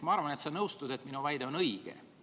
Ma arvan, et sa nõustud sellega, et minu väide on õige.